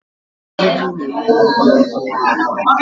Ajụjụ na-enyere gị aka ịghọta